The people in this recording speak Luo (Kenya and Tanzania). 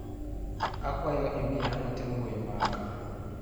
Akwayo imiya ote mbui maga.